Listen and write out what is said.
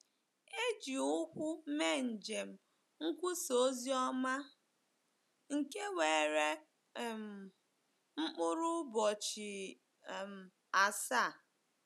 E ji ụkwụ mee njem nkwusa ozioma, nke were um mkpụrụ ụbọchị um asaa.